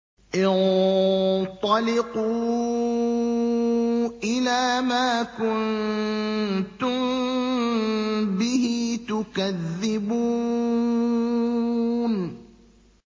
انطَلِقُوا إِلَىٰ مَا كُنتُم بِهِ تُكَذِّبُونَ